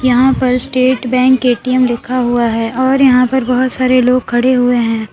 यहां पर स्टेट बैंक ए_टी_एम लिखा हुआ है और यहां पर बोहोत सारे लोग खड़े हुए हैं।